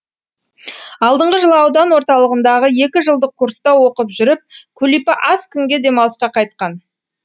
алдыңғы жылы аудан орталығындағы екі жылдық курста оқып жүріп күлипа аз күнге демалысқа қайтқан